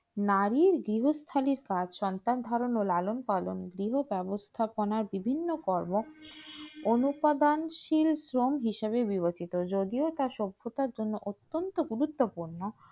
নারী বীরস্ত এ কাজ সন্তান ধারণের লালন পালন এই ব্যবস্থাপনা বিভিন্ন কর্ম উৎপাদন সিল কম হিসেবে বিবেচিত যদিও তা সভ্যতার জন্য অর্থনৈতিক গুরুত্বপূর্ণ